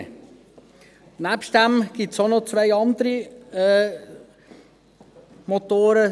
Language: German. Daneben gibt es auch noch zwei andere Motoren: